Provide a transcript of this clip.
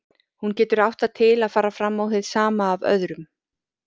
Hún getur átt það til að fara fram á hið sama af öðrum.